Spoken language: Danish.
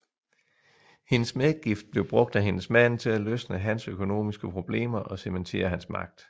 Hendes medgift blev brugt af hendes mand til at løsne hans økonomiske problemer og cementere hans magt